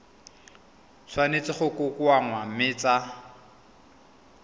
tshwanetse go kokoanngwa mme tsa